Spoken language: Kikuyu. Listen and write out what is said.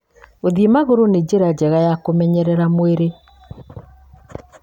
Gũthiĩ magũrũ nĩ njĩra njega ya kũmenyeria mwĩrĩ